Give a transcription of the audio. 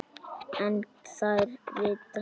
En þær vita ekkert.